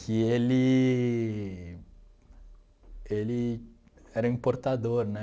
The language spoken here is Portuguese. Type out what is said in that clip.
Que ele... Ele era importador, né?